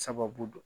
Sababu dɔ